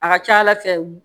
A ka ca ala fɛ